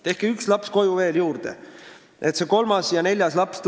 Tehke üks laps veel koju juurde, et tuleks ka kolmas ja neljas laps.